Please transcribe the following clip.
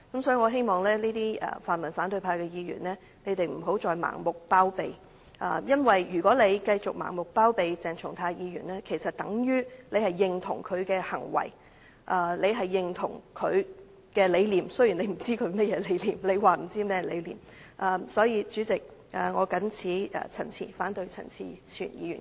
所以，我希望泛民反對派的議員不要再盲目包庇，因為如果他們繼續盲目包庇鄭松泰議員，其實等於認同他的行為、認同他的理念，雖然他們不知道他的理念為何或他們說不知道他的理念為何。